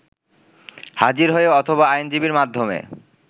হাজির হয়ে অথবা আইনজীবীর মাধ্যমে